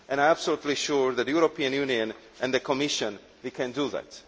I am absolutely sure that the European Union and the Commission can do that.